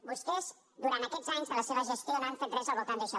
vostès durant aquests anys de la seva gestió no han fet res al voltant d’això